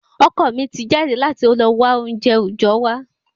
Ọkọ mi ti jáde láti lọ wa ounjẹ ojọ wa